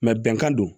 bɛnkan don